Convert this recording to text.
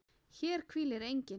HÉR HVÍLIR ENGINN